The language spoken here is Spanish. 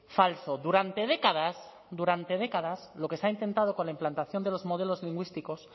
falso durante décadas durante décadas lo que se ha intentado con la implantación de los modelos lingüísticos